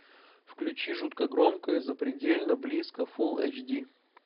включи жутко громко и запредельно близко фулл эйч ди